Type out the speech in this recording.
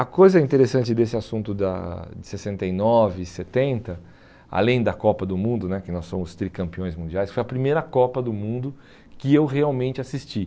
A coisa interessante desse assunto da de sessenta e nove e setenta, além da Copa do Mundo né, que nós somos tricampeões mundiais, foi a primeira Copa do Mundo que eu realmente assisti.